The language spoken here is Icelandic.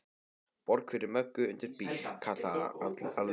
Borg fyrir Möggu undir bíl, kallaði Alli.